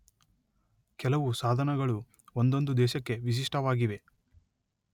ಕೆಲವು ಸಾಧನಗಳು ಒಂದೊಂದು ದೇಶಕ್ಕೆ ವಿಶಿಷ್ಟವಾಗಿವೆ.